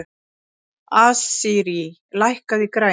Asírí, lækkaðu í græjunum.